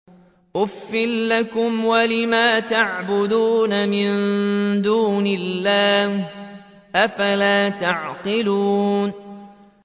أُفٍّ لَّكُمْ وَلِمَا تَعْبُدُونَ مِن دُونِ اللَّهِ ۖ أَفَلَا تَعْقِلُونَ